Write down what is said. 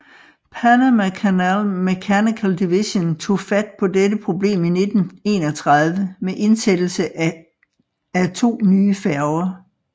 Panama Canal Mechanical Division tog fat på dette problem i 1931 med indsættelsen af af to nye færger